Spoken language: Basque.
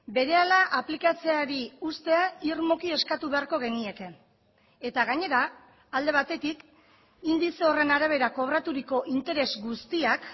berehala aplikatzeari uztea irmoki eskatu beharko genieke eta gainera alde batetik indize horren arabera kobraturiko interes guztiak